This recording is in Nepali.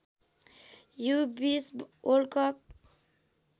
you २० world cup